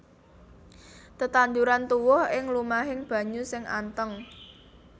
Tetanduran tuwuh ing lumahing banyu sing anteng